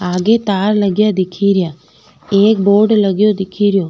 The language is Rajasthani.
आगे तार लगा दिखे रा एक बोर्ड लगो दिखेरो।